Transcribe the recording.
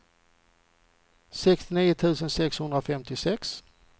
sextionio tusen sexhundrafemtiosex